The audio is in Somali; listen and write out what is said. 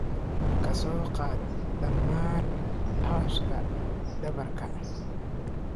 ka soo qaad dhammaan cawska dhabarka.